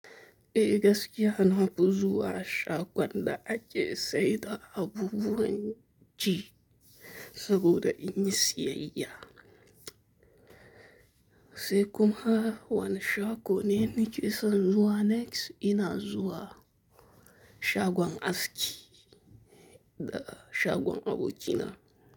Ehh gaskiya nafi zuwa shagon da ake saida abubuwan ci. Saboda in yi siyayya. Sai kuma wane shago neni ke son zuwa next, ina zuwa shagon aski da shagon abokina.